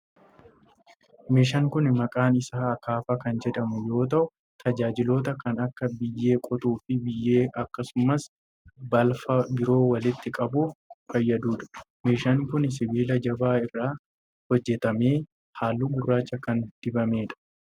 Meeshaan kun maqaan isaa 'Akaafaa' kan jedhamu yoo ta'u, tajaajiloota kan akka biyyee qotuu fi biyyee akkasumas balfa biroo walitti qabuuf fayyaduu dha. Meeshaan kun, sibiila jabaa irraa hojjatamee haalluu gurraacha kan dibamee dha.